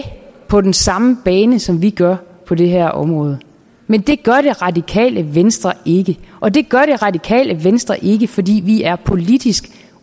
på den samme bane som vi gør på det her område men det gør det radikale venstre ikke og det gør det radikale venstre ikke fordi vi er politisk